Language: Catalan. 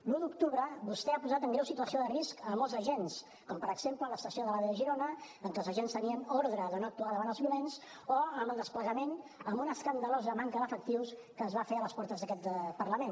l’un d’octubre vostè ha posat en greu situació de risc molts agents com per exemple a l’estació de l’ave de girona en què els agents tenien ordre de no actuar davant els violents o amb el desplegament amb una escandalosa manca d’efectius que es va fer a les portes d’aquest parlament